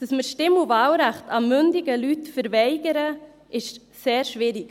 Dass wir das Stimm- und Wahlrecht mündigen Leuten verweigern, ist sehr schwierig.